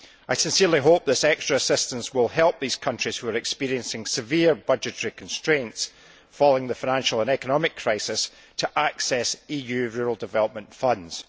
I sincerely hope that this extra assistance will help these countries, which are experiencing severe budgetary constraints following the financial and economic crisis, to access EU rural development funds.